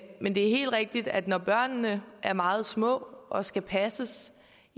men det er helt rigtigt at når børnene er meget små og skal passes